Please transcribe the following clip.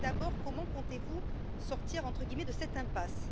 Tout d'abord, comment comptez vous sortir, entre guillemets, de cette impasse?